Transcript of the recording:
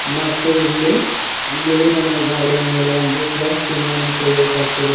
ಮತ್ತು ಇಲ್ಲಿ ಬಿಳಿ ಬಣ್ಣದ ಗೋವಾಡೆಯ ಮೇಲೆ ಪ್ಲಸ್ ಚಿನ್ಹೆಯನ್ನು ತೆಗೆಯಲು ಪಟ್ಟಿದೆ.